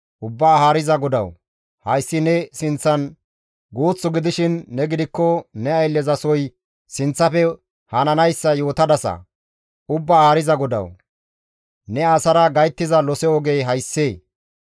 Ubbaa Haariza GODAWU, hayssi ne sinththan guuth gidishin ne gidikko ne ayllezasoy sinththafe hananayssa yootadasa; Ubbaa Haariza GODAWU! Ne asara gayttiza lose ogey hayssee?